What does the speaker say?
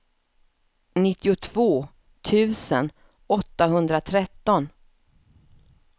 nittiotvå tusen åttahundratretton